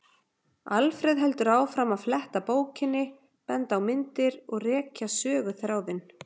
Alfreð heldur áfram að fletta bókinni, benda á myndir og rekja söguþráðinn.